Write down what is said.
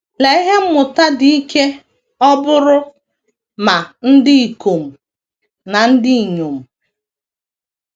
Lee ihe mmụta dị ike ọ bụụrụ ma ndị ikom ma ndị inyom!